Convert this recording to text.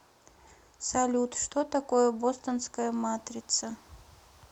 салют что такое бостонская матрица